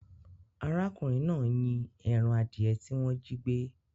Arákùnrin náà ń yín ẹran adìẹ tí wọ́n jígbẹ́.